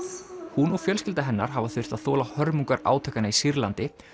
hún og fjölskylda hennar hafa þurft að þola hörmungar átakanna í Sýrlandi